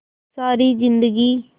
सारी जिंदगी